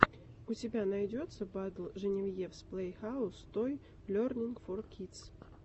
у тебя найдется батл женевьевс плэйхаус той лернинг фор кидс